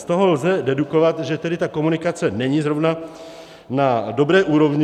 Z toho lze dedukovat, že tedy ta komunikace není zrovna na dobré úrovni.